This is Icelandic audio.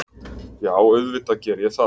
Já, auðvitað geri ég það.